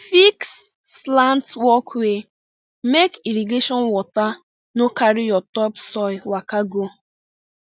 fix slant walkway make irrigation water no carry your topsoil waka go